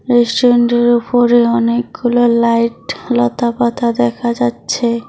রেস্টুরেন্টের উপরে অনেকগুলো লাইট লতা পাতা দেখা যাচ্ছে।